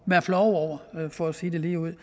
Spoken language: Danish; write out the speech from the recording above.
være flove over for at sige det ligeud